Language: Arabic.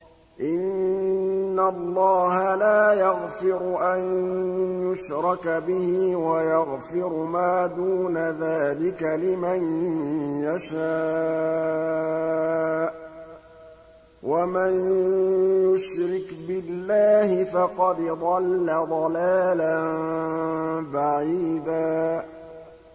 إِنَّ اللَّهَ لَا يَغْفِرُ أَن يُشْرَكَ بِهِ وَيَغْفِرُ مَا دُونَ ذَٰلِكَ لِمَن يَشَاءُ ۚ وَمَن يُشْرِكْ بِاللَّهِ فَقَدْ ضَلَّ ضَلَالًا بَعِيدًا